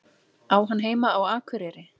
Á hann heima á Akureyri?